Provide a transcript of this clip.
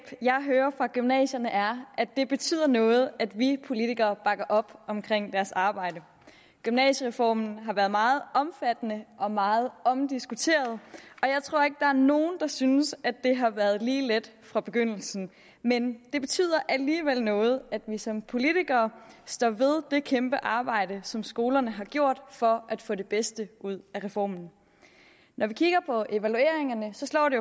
jeg hører fra gymnasierne er at det betyder noget at vi politikere bakker op om deres arbejde gymnasiereformen har været meget omfattende og meget omdiskuteret og jeg tror ikke er nogen der synes at det har været lige let fra begyndelsen men det betyder alligevel noget at vi som politikere står ved det kæmpe arbejde som skolerne har gjort for at få det bedste ud af reformen når vi kigger på evalueringerne slår det